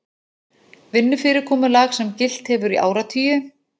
Vinnufyrirkomulag sem gilt hefur í áratugi